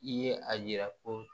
I ye a yira ko